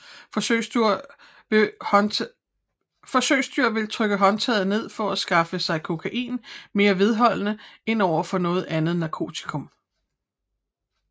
Forsøgsdyr vil trykke håndtaget ned for at skaffe sig kokain mere vedholdende end overfor noget andet narkotikum